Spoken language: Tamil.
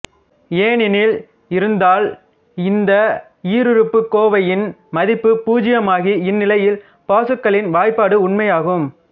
ஏனெனில் இருந்தால் இந்த ஈருறுப்புக்கோவையின் மதிப்பு பூச்சியமாகி இந்நிலையிலும் பாசுக்கலின் வாய்பாடு உண்மையாகும்